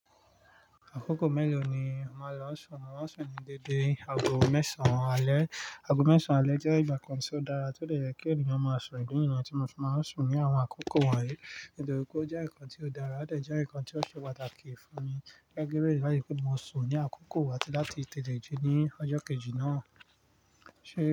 Àkókò mélòó ni o màá lọ sùn? Mo màá sùn ní dédé aago mẹ́sàn-án alẹ́. Aago mẹ́sàn-án alẹ́ jẹ́ ìgbà kan tí ó dára tí ó le yẹ́ kí ènìyàn máa sùn ìdi ni yen tí mo fi máa ń sùn ní àwọn àkókò wọ̀nyí, nítorí pé ó jẹ́ ìkan tí ó dára, ó dè jẹ́ nkan tí ó ṣe pàtàkì fún mi láìpẹ́ báyìí kí n máa sùn ní àkókò àti láti tẹ̀te e ji ní ọjọ́ kejì náà. Ṣé.